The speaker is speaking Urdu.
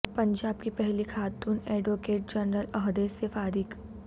پنجاب کی پہلی خاتون ایڈوکیٹ جنرل عہدے سے فارغ